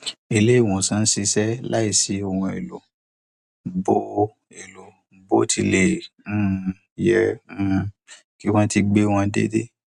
ilé ìwòsàn ń ṣiṣẹ láìsí ohun èlò bó èlò bó tilẹ um yẹ um kí wọn ti gbé wọn dédé